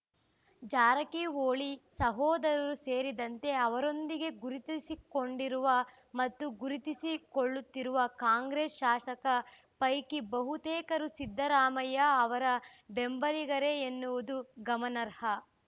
ಜಾರಕಿಹೊಳಿ ಸಹೋದರರು ಸೇರಿದಂತೆ ಅವರೊಂದಿಗೆ ಗುರುತಿಸಿಕೊಂಡಿರುವ ಮತ್ತು ಗುರುತಿಸಿಕೊಳ್ಳುತ್ತಿರುವ ಕಾಂಗ್ರೆಸ್‌ ಶಾಸಕ ಪೈಕಿ ಬಹುತೇಕರು ಸಿದ್ದರಾಮಯ್ಯ ಅವರ ಬೆಂಬಲಿಗರೇ ಎನ್ನುವುದು ಗಮನಾರ್ಹ